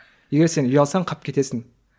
егер сен ұялсаң қалып кетесің